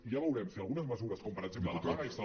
i ja veurem si algunes mesures com per exemple la paga extra